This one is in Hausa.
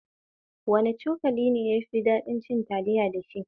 Wane irin cokali ne yafi daɗin cin taliya dashi?